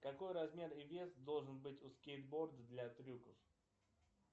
какой размер и вес должен быть у скейтборда для трюков